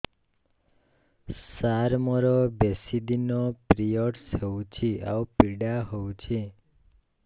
ସାର ମୋର ବେଶୀ ଦିନ ପିରୀଅଡ଼ସ ହଉଚି ଆଉ ପୀଡା ହଉଚି